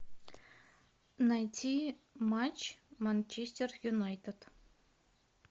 найти матч манчестер юнайтед